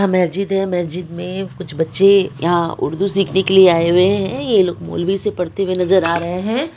यह मेहजिद है मेहजीद मे कुछ बच्चे यहां उर्दू सीखने के लिए आए हुए हैं ये लोग मौलवी से पढ़ते हुए नजर आ रहे हैं।